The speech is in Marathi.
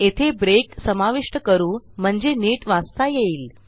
येथे ब्रेक समाविष्ट करू म्हणजे नीट वाचता येईल